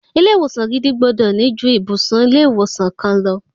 Ilé ìwòsan gidi gbọ́dọ̀ ní ju ibùsùn ilé ìwòsan kan lọ.